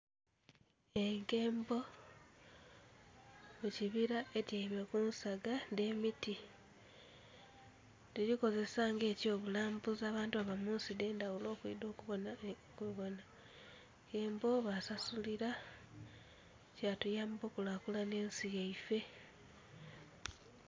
Enkembo mu kibira etyaime ku nsaga dh'emiti. Tudhikozesa ng'ekyobulambuzi abantu abava mu nsi edh'endhaghulo okwidha okubona <skip>...enkembo, basasulira, kyatuyamba okulakulanhya ensi yaife.